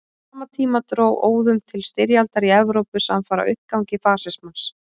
Á sama tíma dró óðum til styrjaldar í Evrópu samfara uppgangi fasismans.